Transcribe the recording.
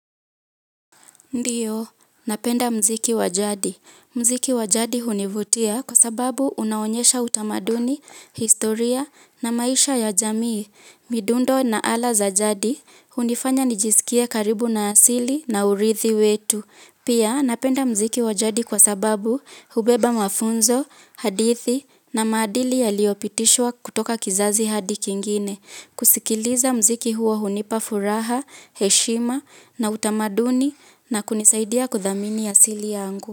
Ndiyo, napenda muziki wa jadi. Muziki wa jadi hunivutia kwa sababu unaonyesha utamaduni, historia na maisha ya jamii. Midundo na ala za jadi, hunifanya nijisikie karibu na asili na urithi wetu. Pia, napenda muziki wa jadi kwa sababu hubeba mafunzo, hadithi na maadili yaliyopitishwa kutoka kizazi hadi kingine. Kusikiliza muziki huo hunipa furaha, heshima na utamaduni na kunisaidia kuthamini asili yangu.